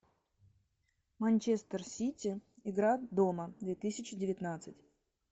манчестер сити игра дома две тысячи девятнадцать